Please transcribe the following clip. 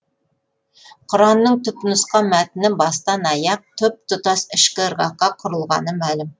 құранның түп нұсқа мәтіні бастан аяқ тұп тұтас ішкі ырғаққа құрылғаны мәлім